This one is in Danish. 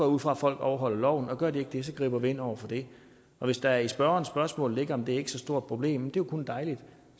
ud fra at folk overholder loven og gør de ikke det griber vi ind over for det hvis der i spørgerens spørgsmål ligger det er så stort problem jo kun dejligt